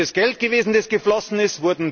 Ist es Geld gewesen, das geflossen ist?